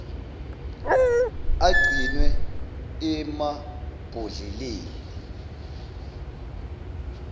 agcinwe emab hodleleni